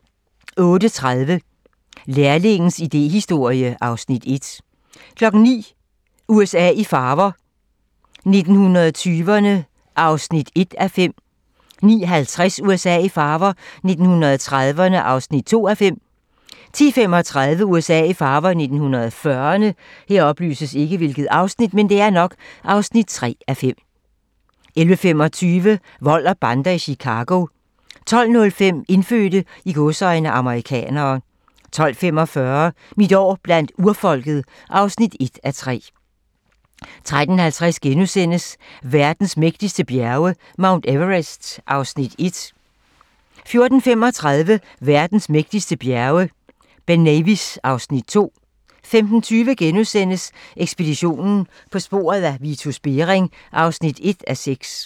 08:30: Læringens idéhistorie (Afs. 1) 09:00: USA i farver - 1920'erne (1:5) 09:50: USA i farver - 1930'erne (2:5) 10:35: USA i farver - 1940'erne 11:25: Vold og bander i Chicago 12:05: Indfødte "amerikanere" 12:45: Mit år blandt urfolket (1:3) 13:50: Verdens mægtigste bjerge: Mount Everest (Afs. 1)* 14:35: Verdens mægtigste bjerge: Ben Nevis (Afs. 2) 15:20: Ekspeditionen - På sporet af Vitus Bering (1:6)*